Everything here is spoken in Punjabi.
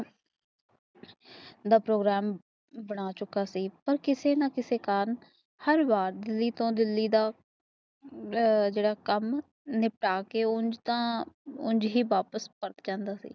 ਦਾ ਪ੍ਰੋਗਰਾਮ ਬਣਾ ਚੁਕਾ ਸੀ ਦਾ ਕਿਸੇ ਨਾ ਕਿਸੇ ਕਾਰਨ ਹਰ ਬਾਰ ਦਿਲੀ ਤੋਂ ਦਿਲੀ ਦਾ ਜੜ੍ਹਾਂ ਕਾਮ ਨਿਪਟਾ ਕੇ ਕੁਜ ਥਾਂ ਕੁਝ ਹੀ ਵਾਪਿਸ ਕਰ ਜਾਂਦਾ ਸੀ